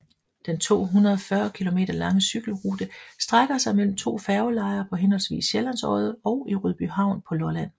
Den 240 km lange cykelrute strækker sig mellem to færgelejer på henholdsvis Sjællands Odde og i Rødbyhavn på Lolland